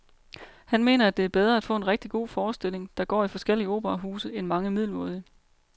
Han mener, at det er bedre at få en rigtig god forestilling, der går i forskellige operahuse, end mange middelmådige.